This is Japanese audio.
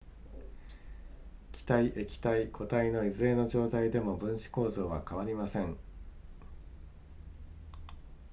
気体液体固体のいずれの状態でも分子構造は変わりません